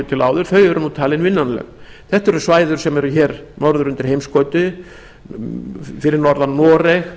til áður eru nú talin vinnanleg þetta eru svæði sem eru norður undir heimskauti fyrir norðan noreg